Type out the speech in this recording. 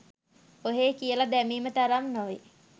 ඔහේ කියල දැමීම තරම් නොවේ.